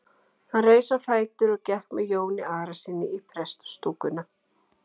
Hann reis á fætur og gekk með Jóni Arasyni í prestastúkuna.